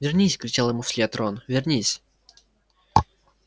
вернись кричал ему вслед рон вернись